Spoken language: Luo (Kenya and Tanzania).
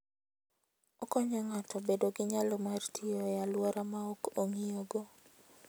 Okonyo ng'ato bedo gi nyalo mar tiyo e alwora ma ok ong'iyogo.